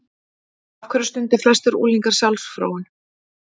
Af hverju stunda flestir unglingar sjálfsfróun?